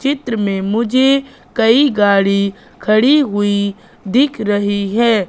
चित्र में मुझे कई गाड़ी खड़ी हुई दिख रही है।